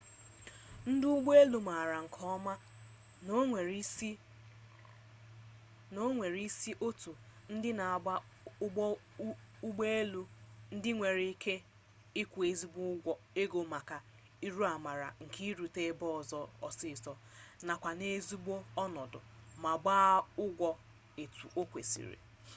ndị ụgbọ elu mara nke ọma na o nwere isi otu ndị na-agba ụgbọ elu ndị nwere ike ịkwụ ezigbo ego maka urụamara nke irute ebe ọzọ ọsịsọ nakwa n'ezigbo ọnọdụ ma gbaa ụgwọ etu o kwesịrị